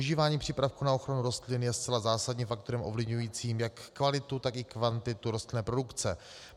Užívání přípravků na ochranu rostlin je zcela zásadním faktorem ovlivňujícím jak kvalitu, tak i kvantitu rostlinné produkce.